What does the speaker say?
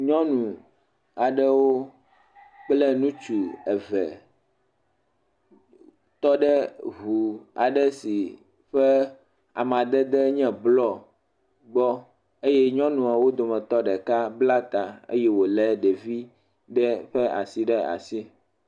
Nyɔnu aɖewo kple ŋutsu eve tɔ ɖe ŋu aɖe si ƒe amadedee nye blɔɔ gbɔ. Eye nyɔnuawo dometɔ ɖeka bla ta eye wolé ɖevi ɖe ƒe asi ɖe asi.